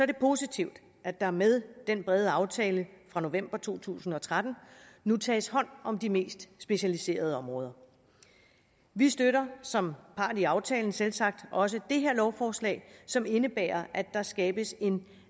det positivt at der med den brede aftale fra november to tusind og tretten nu tages hånd om de mest specialiserede områder vi støtter som part i aftalen selvsagt også det her lovforslag som indebærer at der skabes en